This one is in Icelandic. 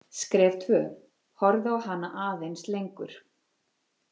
Skref tvö: Horfa á hana aðeins lengur.